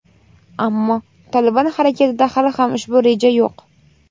ammo "Tolibon" harakatida hali ham ushbu reja yo‘q.